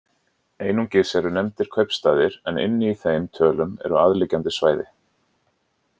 Einungis eru nefndir kaupstaðir en inni í þeim tölum eru aðliggjandi svæði.